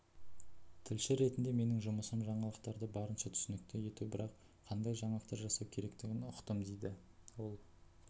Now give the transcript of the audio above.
тілші ретінде менің жұмысым жаңалықтарды барынша түсінікті ету бірақ қандай жаңалықтар жасау керектігін ұқтымдейді ол